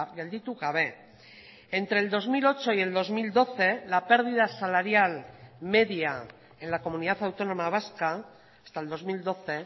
gelditu gabe entre el dos mil ocho y el dos mil doce la pérdida salarial media en la comunidad autónoma vasca hasta el dos mil doce